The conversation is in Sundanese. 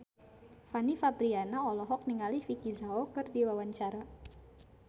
Fanny Fabriana olohok ningali Vicki Zao keur diwawancara